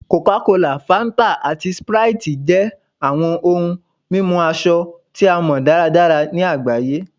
Coca-Cola, Fanta, ati Sprite jẹ awọn ohun mimu asọ ti a mọ daradara ni agbaye